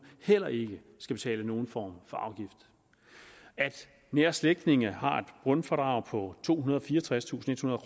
heller ikke skal betale nogen form for afgift at nære slægtninge har et grundfradrag på tohundrede og fireogtredstusindethundrede